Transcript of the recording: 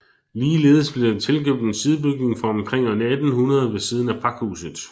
Ligeledes blev der tilkøbt en sidebygning fra omkring år 1800 ved siden af pakhuset